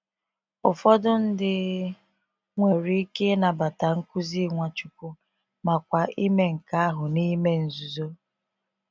Ụfọdụ ndị nwere ike ịnabata nkuzi Nwachukwu, makwa ime nke ahụ n’ime nzuzo.